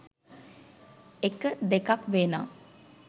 එක, දෙකක් වේ නම්